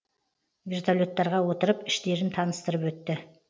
вертолеттарға отырып іштерін таныстырып өтті